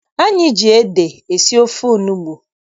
Anyị ji ede sie ofe onugbu.